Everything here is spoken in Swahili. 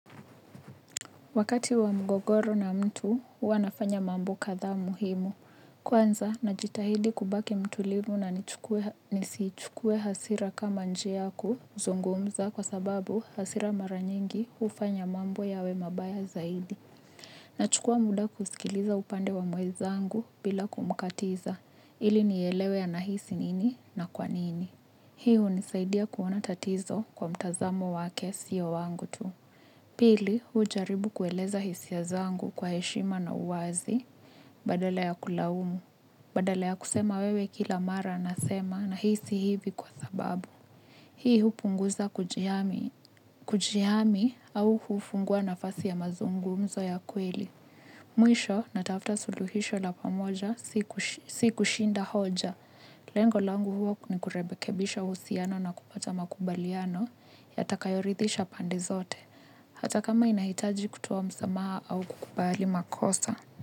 Wakati wa mgogoro na mtu, huwa nafanya mambo kadhaa muhimu. Kwanza, najitahidi kubaki mtulivu na nisichukue hasira kama njia ya kuzungumza kwa sababu hasira mara nyingi hufanya mambo yawe mabaya zaidi. Nachukua muda kusikiliza upande wa mwenzangu bila kumkatiza, ili nielewe anahisi nini na kwa nini. Hii hunisaidia kuona tatizo kwa mtazamo wake siyo wangu tu. Pili, hujaribu kueleza hisia zangu kwa heshima na uwazi, badala ya kulaumu, badala ya kusema wewe kila mara nasema nahisi hivi kwa sababu. Hii hupunguza kujihami, kujihami au hufungua nafasi ya mazungumzo ya kweli. Mwisho, natafuta suluhisho la pamoja, si kushinda hoja. Lengo langu huo ni kurekebisha uhusiano na kupata makubaliano, yatakayoridhisha pande zote. Hata kama inahitaji kutoa msamaha au kukubali makosa.